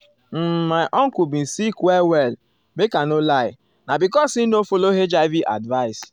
uhm my uncle bin sick well well make i no lie na because e no follow hiv advice.